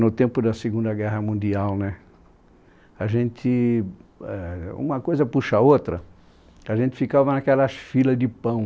No tempo da Segunda Guerra Mundial né, a gente... Éh uma coisa puxa a outra, a gente ficava naquelas filas de pão.